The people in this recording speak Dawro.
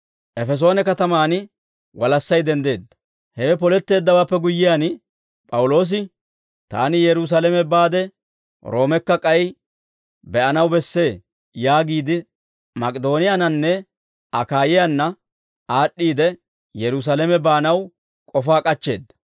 Hewe poletteeddawaappe guyyiyaan P'awuloosi, «Taani Yerusaalame baade Roomekka k'ay be'anaw bessee» yaagiide, Mak'idooniyaannanne Akaayiyaana aad'd'iide, Yerusaalame baanaw k'ofaa k'achcheedda.